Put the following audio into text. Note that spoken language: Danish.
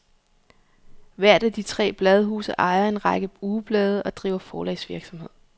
Hvert af de tre bladhuse ejer en række ugeblade og driver forlagsvirksomhed.